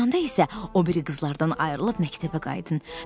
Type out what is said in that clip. Tinə çatanda isə o biri qızlardan ayrılıb məktəbə qayıdın.